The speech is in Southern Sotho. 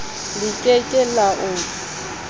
le ke ke la o